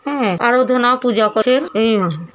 হ্যাঁ আরাধনা ও পূজা করছেন। এ--